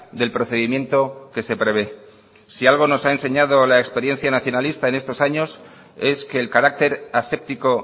del procedimiento que se prevé si algo nos ha enseñado la experiencia nacionalista en estos años es que el carácter aséptico